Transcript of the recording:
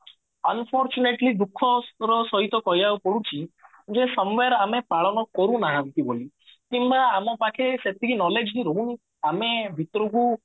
unfortunately ଦୁଖଃ ର ସହିତ କହିବାକୁ ପଡୁଛି ଯୋଉ ସମୟର ଆମେ ପାଳନ କରୁ ନାହାନ୍ତି ବୋଲି କିମ୍ବା ଆମ ପାଖେ ସେତିକି knowledge ହିଁ ରହୁନି ଆମେ ଭିତୁରୁକୁ